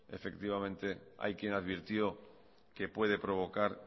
hay quien advirtió que puede provocar